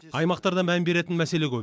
аймақтарда мән беретін мәселе көп